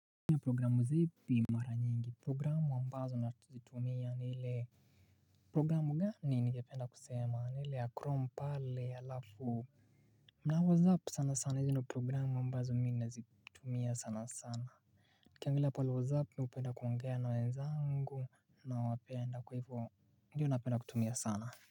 Minu ya programu zipi mara nyingi programu ambazo nazitumia ni ile programu gani ningependa kusema ni ile ya chrome pale alafu na WhatsApp sana sana izi ndo programu ambazo mi nazitumia sana sana Nikiangilia pale WhatsApp mi upenda kuongea na wenzangu nawapenda kwa hivo ndio napenda kutumia sana.